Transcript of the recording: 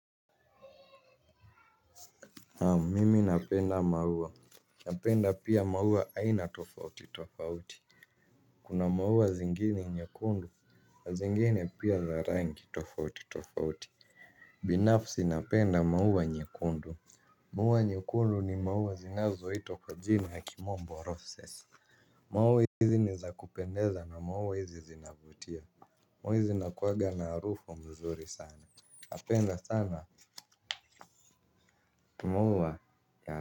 Haa mimi napenda maua. Napenda pia maua haina tofauti tofauti. Kuna maua zingini nyekundu zingine pia za rangi tofauti tofauti. Binafsi napenda maua nyekundu. Maua nyekundu ni maua zinazo hitwa kwa jina ya kimombo roses. Maua hizi ni za kupendeza na maua hizi zinavutia. Maua hizi zinakuwaga na arufu mzuri sana. Napenda sana maua ya.